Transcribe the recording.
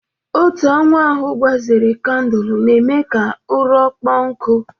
Otu anwụ ahụ gbazere kandụlụ na-eme ka ụrọ kpọọ nkụ.